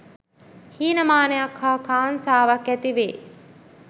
හීනමානයක් හා කාංසාවක් ඇතිවේ